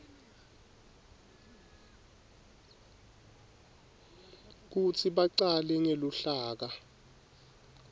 kutsi bacale ngeluhlaka